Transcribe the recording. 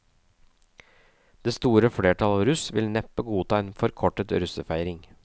Det store flertallet av russ vil neppe godta en forkortet russefeiring.